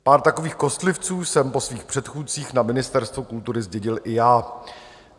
Pár takových kostlivců jsem po svých předchůdcích na Ministerstvu kultury zdědil i já.